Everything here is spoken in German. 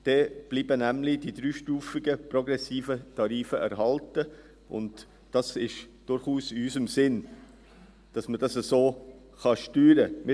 Dann bleiben nämlich die dreistufigen progressiven Tarife erhalten, und es ist durchaus in unserem Sinne, dass man dies so steuern kann.